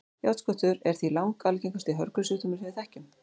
járnskortur er því langalgengasti hörgulsjúkdómurinn sem við þekkjum